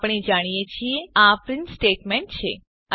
આપણે જાણીએ છીએ આ પ્રીંટ સ્ટેટમેંટ છે